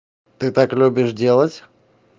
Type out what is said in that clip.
ты так любишь делать